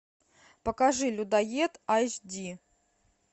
покажи людоед айч ди